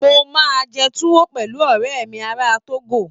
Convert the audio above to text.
Mo máa jẹ Tuwo pẹ̀lú ọ̀rẹ́ mi ará Togo